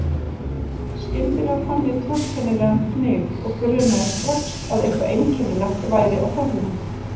Skyndilega fann ég torkennilegan fnyk og grunaði strax að eitthvað einkennilegt væri á ferðinni.